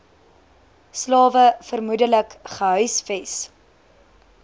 slawe vermoedelik gehuisves